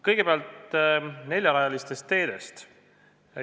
Kõigepealt neljarajalistest teedest.